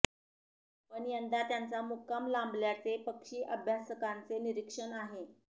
पण यंदा त्यांचा मुक्काम लांबल्याचे पक्षी अभ्यासकांचे निरीक्षण आहे